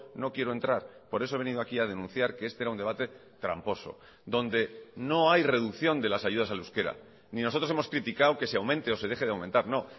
no quiero entrar por eso he venido aquí a denunciar que este era un debate tramposo donde no hay reducción de las ayudas al euskera ni nosotros hemos criticado que se aumente o se deje de aumentar no